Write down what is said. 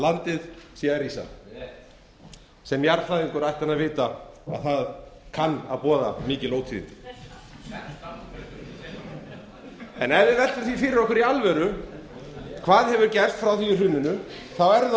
landið sé að rísa rétt sem jarðfræðingur ætti hann að vita að það kann að boða mikil ótíðindi ef við veltum því fyrir okkur í alvöru hvað hefur gerst frá því í hruninu er